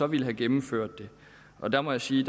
ville have gennemført det og der må jeg sige